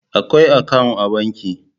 Akwai akawu a banki.